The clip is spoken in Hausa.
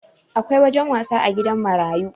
Akwai wajen wasa a gidan marayu